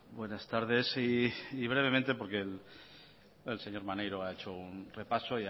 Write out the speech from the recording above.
buenas tardes y brevemente porque el señor maneiro ha hecho un repaso